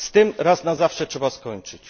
Z tym raz na zawsze trzeba skończyć.